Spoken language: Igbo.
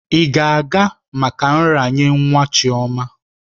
Ị ga-aga maka nraranye nwa Chioma?